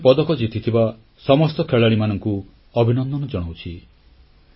ମୁଁ ଦେଶ ପାଇଁ ପଦକ ଜିତିଥିବା ସମସ୍ତ ଖେଳାଳିମାନଙ୍କୁ ଅଭିନନ୍ଦନ ଜଣାଉଛି